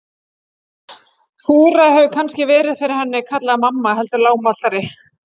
Þura hefur kannski verið fyrir henni kallaði mamma heldur lágmæltari.